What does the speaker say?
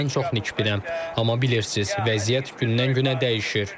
Mən çox nikbinəm, amma bilirsiniz, vəziyyət gündən-günə dəyişir.